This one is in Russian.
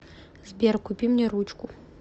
сбер купи мне ручку